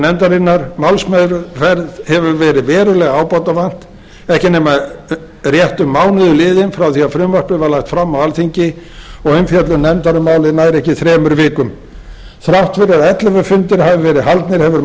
nefndarinnar málsmeðferð hefur verið verulega ábótavant ekki er nema rétt um mánuður liðinn frá því að frumvarpið var lagt fram á alþingi og umfjöllun nefndar um málið nær ekki þremur vikum þrátt fyrir að ellefu fundir hafi verið haldnir hefur